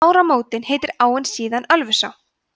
við ármótin heitir áin síðan ölfusá